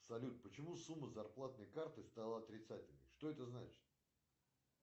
салют почему сумма зарплатной карты стала отрицательной что это значит